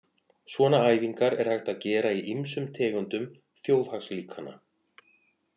Svona æfingar er hægt að gera í ýmsum tegundum þjóðhagslíkana.